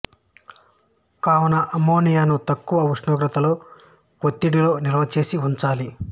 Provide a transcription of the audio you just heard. కావున అమ్మోనియాను తక్కువ ఉష్ణోగ్రతలో వత్తిడిలో నిల్వ చేసి ఉంచాలి